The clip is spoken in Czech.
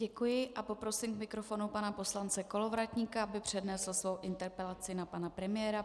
Děkuji a poprosím k mikrofonu pana poslance Kolovratníka, aby přednesl svou interpelaci na pana premiéra.